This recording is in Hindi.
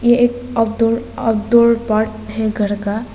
ये एक पार्ट हैं घर का।